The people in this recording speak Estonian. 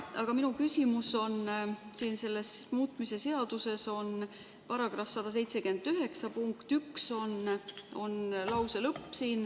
Aga minu küsimus on, et selles muutmise seaduses on § 179 lõike 1 lause lõpp: "...